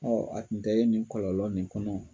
a tun tɛ ye nin kɔlɔlɔ nin kɔnɔ.